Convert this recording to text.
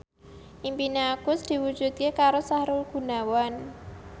impine Agus diwujudke karo Sahrul Gunawan